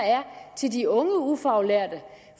til de unge ufaglærte